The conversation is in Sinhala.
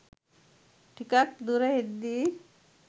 ටිකක් දුර එද්දී